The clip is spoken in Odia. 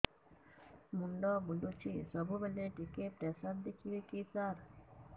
ମୁଣ୍ଡ ବୁଲୁଚି ସବୁବେଳେ ଟିକେ ପ୍ରେସର ଦେଖିବେ କି ସାର